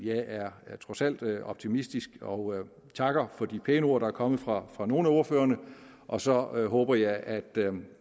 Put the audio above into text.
er trods alt optimistisk og takker for de pæne ord der er kommet fra fra nogle af ordførerne og så håber jeg at